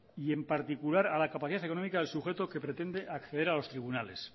y en particular a la capacidad económica del sujeto que pretende acceder a los tribunales